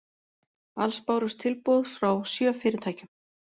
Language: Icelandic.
Alls bárust tilboð frá sjö fyrirtækjum